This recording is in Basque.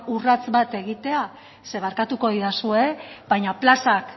urrats bat egitea zeren barkatuko didazue baina plazak